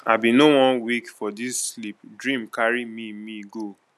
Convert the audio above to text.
i bin no wan wake for dis sleep dream carry me me go